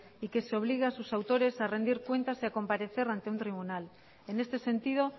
y que se obligue a sus autores a rendir cuentas y a comparecer ante un tribunal en este sentido